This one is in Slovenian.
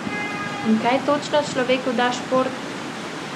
In kaj točno človeku da šport?